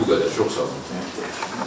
Mən bu qədər, çox sağ olun.